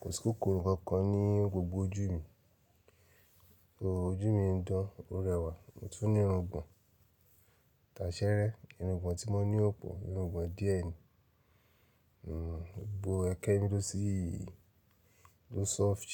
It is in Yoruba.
Kò sí kòkòrò kankan ní gbogbo ojú mi. Ojú mi ń dán, ó rẹwà, mo tún ní irungbọ̀n. Tàṣẹ́rẹ́ irungbọ̀n tí mo ní ò pọ̀, irungbọ̀n díẹ̀ ni. N gbogbo ẹekẹ mí ló ṣíì ló soft.